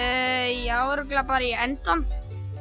já örugglega bara í endann